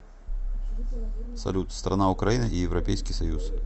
салют страна украина и европейский союз